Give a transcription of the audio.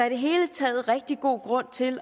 i det hele taget rigtig god grund til